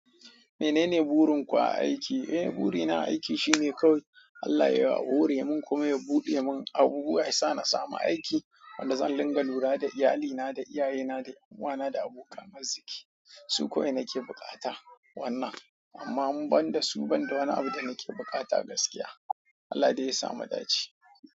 Menene burin ku a aiki? Eh burina a aiki shine kawai Allah yayi wa, hore mun kuma ya buɗe mun abubuwa yasa na samu aiki wanda zan dinga lura da iyalina da iyayena da ƴan uwana da aboka arziki. Su kawai nake bukata wannan amma in ban da su ban da wani abu da nake bukata gaskiya. Allah dai ya sa mu dace.